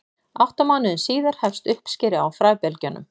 átta mánuðum síðar hefst uppskera á fræbelgjunum